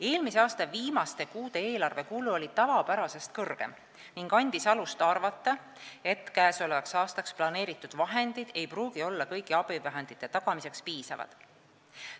Eelmise aasta viimaste kuude eelarvekulu oli tavapärasest suurem ning andis alust arvata, et käesolevaks aastaks planeeritud vahendid ei pruugi olla kõigi abivahendite tagamiseks piisavad.